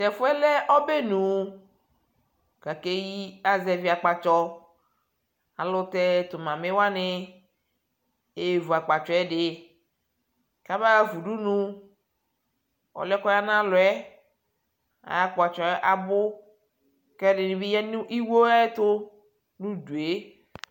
tɛƒʋɛ lɛ ɔbɛnʋ kʋ akɛyi aka zɛvi akpatsɔ, alʋtɛ tʋ mamee wani ɛvʋ akpatsɔɛ di kʋ aba haƒa ʋdʋnʋ, ɔlʋɛ kʋ ɔya nʋ alʋɛ ayi akpatsɔɛ abʋ kɛ ɛdini bi yanʋ iwɔ ayɛtʋ nʋ ʋdʋɛ